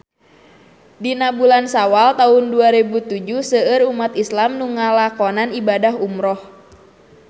Dina bulan Sawal taun dua rebu tujuh seueur umat islam nu ngalakonan ibadah umrah